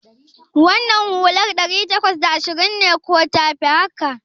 Wannan hular ɗari takwas da ashirin ce ko tafi haka?